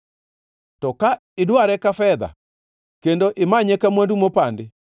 to ka idware ka fedha kendo imanye ka mwandu mopandi,